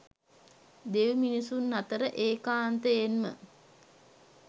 දෙව්මිනිසුන් අතර ඒකාන්තයෙන්ම